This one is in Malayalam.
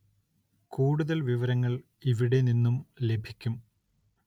കൂടുതല്‍ വിവരങ്ങള്‍ ഇവിടെ നിന്നു ലഭിക്കും